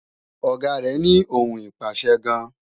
Ọ̀gá rẹ́ ní ohùn ìpàṣẹ gan